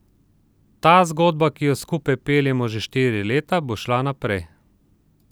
Ta zgodba, ki jo skupaj peljemo že štiri leta, bo šla naprej.